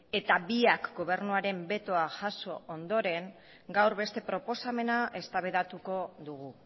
eta biak gobernuaren betoa jaso ondoren gaur beste proposamena eztabaidatuko dugu